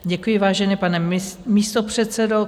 Děkuji, vážený pane místopředsedo.